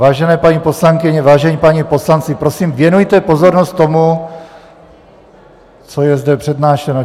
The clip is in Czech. Vážené paní poslankyně, vážení páni poslanci, prosím, věnujte pozornost tomu, co je zde přednášeno.